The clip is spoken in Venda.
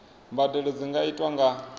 mbadelo dzi nga itwa nga